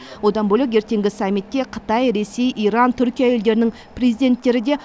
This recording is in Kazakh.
одан бөлек ертеңгі самитте қытай ресей иран түркия елдерінің президенттері де